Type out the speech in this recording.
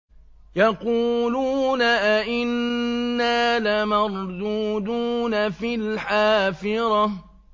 يَقُولُونَ أَإِنَّا لَمَرْدُودُونَ فِي الْحَافِرَةِ